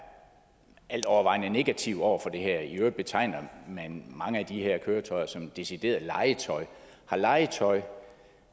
altovervejende negative over for det her i øvrigt betegner man mange af de her køretøjer som decideret legetøj har legetøj